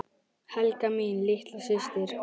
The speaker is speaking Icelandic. Helga mín litla systir.